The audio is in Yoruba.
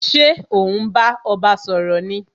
Ṣé o n bá ọba sọ̀rọ̀ ni?